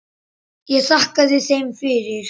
Ég þakkaði þeim fyrir.